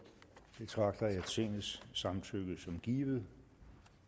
betragter jeg tingets samtykke som givet